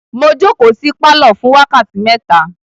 Mo jókòó sí pálọ̀ fún wákàtí mẹ́ta.